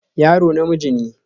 Yaro namiji ne